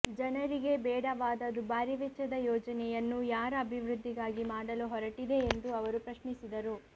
ಜನರಿಗೆ ಬೇಡವಾದ ದುಬಾರಿ ವೆಚ್ಚದ ಯೋಜನೆಯನ್ನು ಯಾರ ಅಭಿವೃದ್ಧಿಗಾಗಿ ಮಾಡಲು ಹೊರಟಿದೆ ಎಂದು ಅವರು ಪ್ರಶ್ನಿಸಿದರು